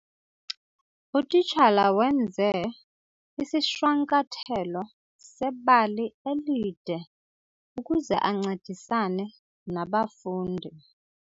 Utitshala wenze isishwankathelo sebali elide ukuze ancedisane nabafundi.